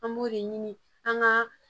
An b'o de ɲini an ka